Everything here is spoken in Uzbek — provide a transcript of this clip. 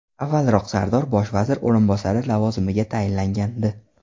Avvalroq Sardor bosh vazir o‘rinbosari lavozimiga tayinlangandi .